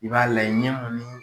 I b'a layɛ ɲɛ mun ni